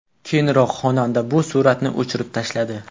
Keyinroq xonanda bu suratni o‘chirib tashladi.